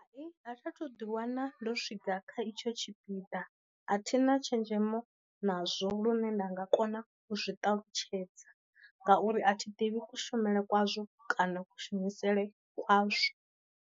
Hayi a tha thu ḓi wana ndo swika kha itsho tshipiḓa, a thina tshenzhemo nazwo lune nda nga kona u zwi ṱalutshedza ngauri a thi ḓivhi ku shumele ku nazwo kana ku shumisele kwa zwo